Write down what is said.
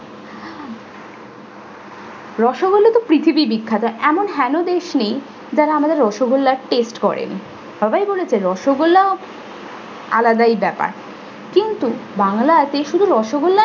রসগোল্লা তো পৃথিবী বিখ্যাত এমন দেশী যারা আমাদের রসগোল্লা taste করেনি। সবাই বলেছে রসগোল্লাও আলাদাই ব্যাপার। কিন্তু বাংলাতে শুধু রসগোল্লায়